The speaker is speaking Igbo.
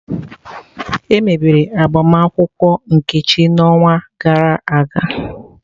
Emebere agbamakwụkwọ Nkechi n'ọnwa gara aga.